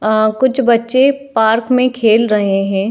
अ कुछ बच्चे पार्क में खेल रहे हैं।